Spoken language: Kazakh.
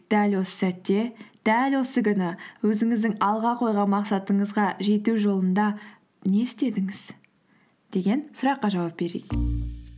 дәл осы сәтте дәл осы күні өзіңіздің алға қойған мақсатыңызға жету жолында не істедіңіз деген сұраққа жауап берейік